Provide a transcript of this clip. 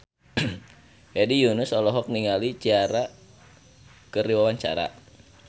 Hedi Yunus olohok ningali Ciara keur diwawancara